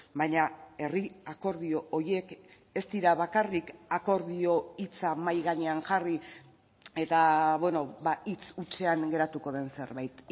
baina herri akordio horiek ez dira bakarrik akordio hitza mahai gainean jarri eta hitz hutsean geratuko den zerbait